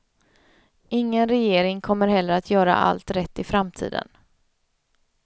Ingen regering kommer heller att göra allt rätt i framtiden.